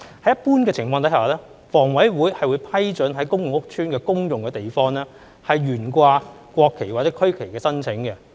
在一般情況下，房委會會批准在公共屋邨的公用地方懸掛國旗或區旗的申請。